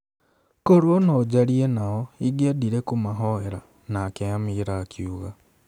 korũo no njarie nao, ingĩendire kũmahoera' Nake Amira akiuga